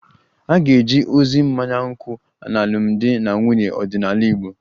A ga-eje ozi mmanya nkwụ n'alụmdi na nwunye ọdịnala Igbo